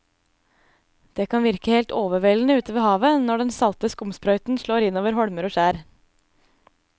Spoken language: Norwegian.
Det kan virke helt overveldende ute ved havet når den salte skumsprøyten slår innover holmer og skjær.